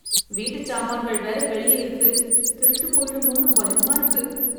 வீட்டு சாமான்கள் வேற வெளியே இருக்கு திருட்டுப் போயிடுமோன்னு பயமா இருக்கு